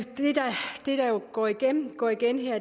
går igen går igen